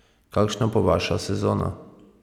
Kakšna bo vaša sezona?